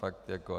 Fakt jako.